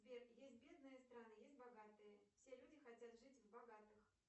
сбер есть бедные страны есть богатые все люди хотят жить в богатых